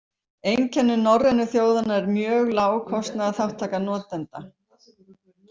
Einkenni norrænu þjóðanna er mjög lág kostnaðarþátttaka notenda.